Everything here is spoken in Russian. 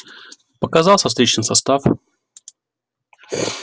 показался встречный состав